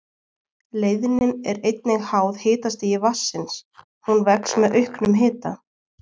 Leiðnin er einnig háð hitastigi vatnsins, hún vex með auknum hita.